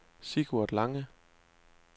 Sigurd Lange